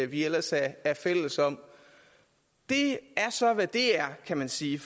vi ellers er fælles om det er så hvad det er kan man sige